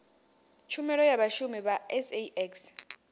tshumelo ya vhashumi vha sax